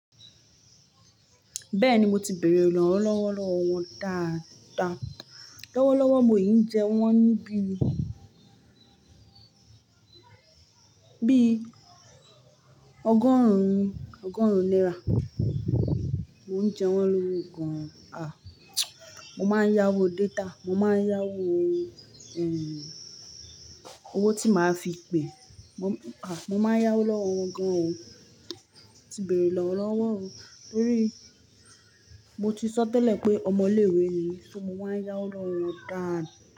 Bẹ́ẹ̀ni, mo ti bèèrè ìrànlọ́wọ́ lọ́wọ́ wọn dáadáa. Lọ́wọ́lọ́wọ́, mò yín ń jẹ wọ́n ní bí i ọgọ́rùn-ún náírà. Mo ń jẹ wọ́n lọ́wọ́ gan-an. A! Mo máa ń yáwó data. Mo máa ń yáwó owó tí màá fi pè. Mo máa ń yáwó lọ́wọ́ wọn gan-an o. Mo ti bèèrè ìrànlọ́wọ́ o. Nítorí mo ti sọ tẹ́lẹ̀ pé ọmọ ilé-ìwé ni mi ṣó mo máa ń yáwó lọ́wọ́ wọn dáadáa.